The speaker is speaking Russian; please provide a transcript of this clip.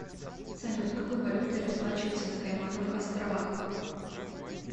салют какой валютой расплачиваются на каймановых островах